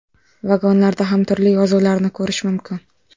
Vagonlarda ham turli yozuvlarni ko‘rish mumkin.